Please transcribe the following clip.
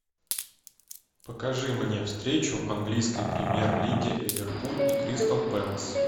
покажи мне встречу английской премьер лиги ливерпуль и кристал пэлас